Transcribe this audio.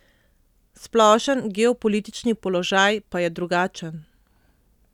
Splošen geopolitični položaj pa je drugačen.